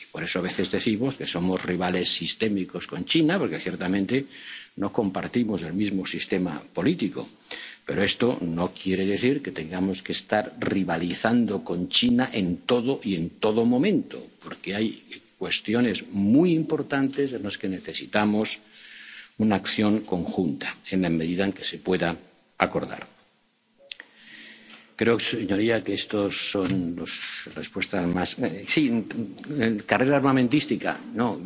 mismo sistema político. Por eso, a veces decimos que somos rivales sistémicos de China porque, ciertamente, no compartimos el mismo sistema político, pero esto no quiere decir que tengamos que estar rivalizando con China en todo y en todo momento. Porque hay cuestiones muy importantes en las que necesitamos una acción conjunta, en la medida en que se pueda acordar. Creo, señorías, que estas son las respuestas.